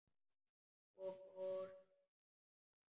Svo fór að snjóa.